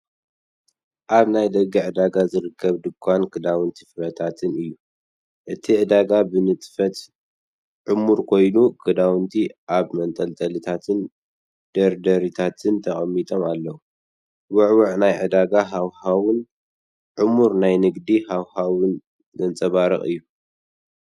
ኣብ ናይ ደገ ዕዳጋ ዝርከብ ድኳን ክዳውንትን ፍረታትን እዩ። እቲ ዕዳጋ ብንጥፈት ዕሙር ኮይኑ፡ ክዳውንቲ ኣብ መንጠልጠሊታትን ደርደሪታትን ተቐሚጦም ኣለዉ። ውዕዉዕ ናይ ዕዳጋ ሃዋህውን ዕሙር ናይ ንግዲ ሃዋህውን ዘንጸባርቕ እዩ።